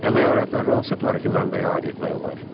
Əmək alətlərini hansı tarixi mənbəyə aid etmək olar?